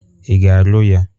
Ị ga-alụ ya?